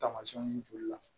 Taamasiyɛnw joli la